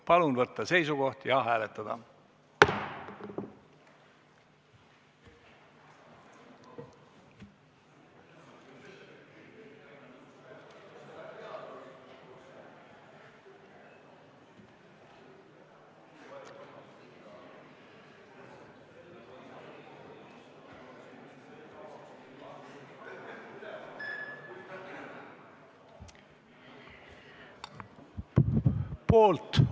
Palun võtta seisukoht ja hääletada!